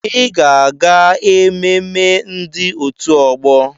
Ịga aga-ememme ndị òtù ọgbọ!